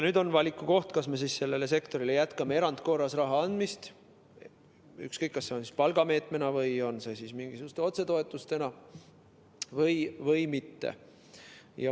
Nüüd on valiku koht, kas me sellele sektorile jätkame erandkorras raha andmist, ükskõik kas palgameetmena või mingisuguste otsetoetustena, või mitte.